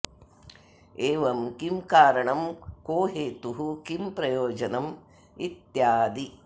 एवं किं कारणं को हेतुः किं प्रयोजनम् इत्यादि